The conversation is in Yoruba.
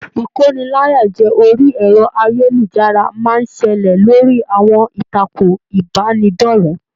Ikóníláyàjẹ̀ orí ẹrọ ayélujára máa n ṣẹlẹ lórí àwọn ìtàkùn ìbánidọ̀rẹ̀.